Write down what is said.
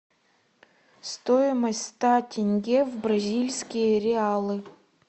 стоимость ста тенге в бразильские реалы